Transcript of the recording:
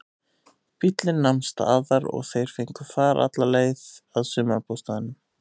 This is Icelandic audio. Bíllinn nam staðar og þeir fengu far alla leið að sumarbústaðnum.